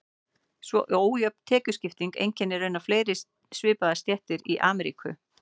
Svo ójöfn tekjuskipting einkennir raunar fleiri svipaðar stéttir í Ameríku.